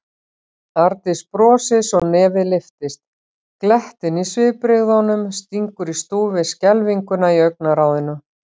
Arndís brosir svo nefið lyftist, glettnin í svipbrigðunum stingur í stúf við skelfinguna í augnaráðinu.